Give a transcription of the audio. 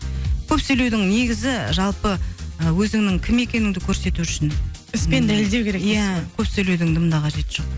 көп сөйлеудің негізі жалпы ы өзіңнің кім екеніңді көрсету үшін іспен дәлелдеу керек дейсіз ғой иә көп сөйлеудің дым да қажеті жоқ